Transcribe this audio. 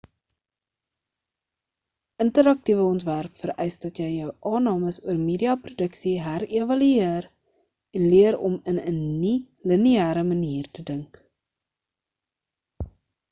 interaktiewe ontwerp vereis dat jy jou aannames oor media produksie herevalueer en leer hoe om in 'n nie-lineêre manier te dink